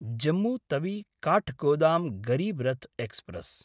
Jammu तवि–काठगोदाम् Garib Rath express